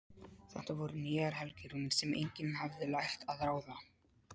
Þetta voru nýjar helgirúnir sem enginn hafði lært að ráða.